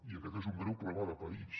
i aquest és un greu problema de país